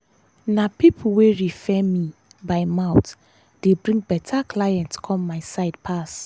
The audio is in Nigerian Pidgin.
na people wey refer me by mouth dey bring better clients come my side pass.